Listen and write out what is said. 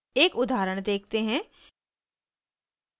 एक उदाहरण देखते हैं